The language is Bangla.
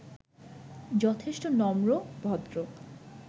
যথেষ্ট নম্র, ভদ্র